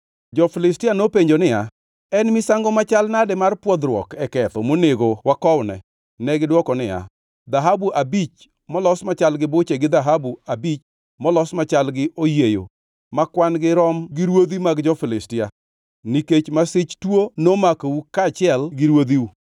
Jo-Filistia nopenjo niya, “En misango machal nade mar pwodhruok e ketho monego wakowne?” Negidwoko niya, “Dhahabu abich molos machal gi buche gi dhahabu abich molos machal gi oyieyo ma kwan-gi rom gi ruodhi mag jo-Filistia, nikech masich tuo nomakou kaachiel gi ruodhiu.